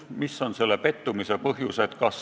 Mis on selle pettumise põhjused?